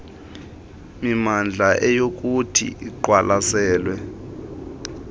mimandla eyakuthi iqwalaselwe